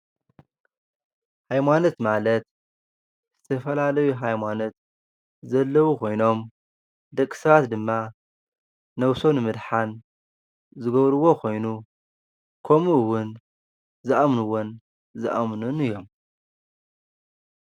ሃይማኖት ማለት ዝተፈላለዩ ሃይማኖት ዘለው ኮይኖም ደቂ ሰባት ድማ ነብሶም ንምድሓን ዝገብርዎ ኮይኑ ከሙኡ እዉን ዝኣምኑዎን ዛኣምኑን እዮም።